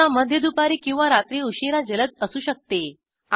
सहसा मध्य दुपारी किंवा रात्री उशीरा जलद असू शकते